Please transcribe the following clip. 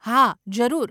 હા, જરૂર.